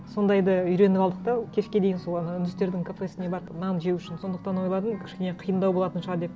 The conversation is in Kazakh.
сондайды үйреніп алдық та кешке дейін сол ана үндістердің кафесіне барып нан жеу үшін сондықтан ойладым кішкене қиындау болатын шығар деп